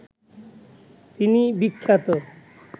তিনি বিখ্যাত